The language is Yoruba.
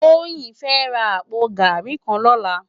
Toyin fè rá àpó gàrí kàn lòlá